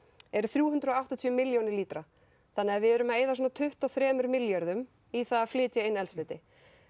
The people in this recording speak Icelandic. eru þrjú hundruð og áttatíu milljónir lítra þannig við erum að eyða svona tuttugu og þremur milljörðum í það að flytja inn eldsneyti